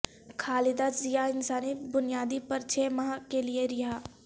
خالدہ ضیاء انسانی بنیادوں پر چھ ماہ کیلئے رہا